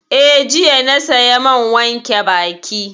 Eh, jiya na saya man wanke baki